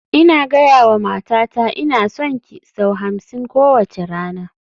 Ina gaya wa matata "Ina son ki" sau hamsin kowace rana